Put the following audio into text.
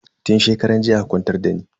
Tun shekaran jiya aka kwantar dani.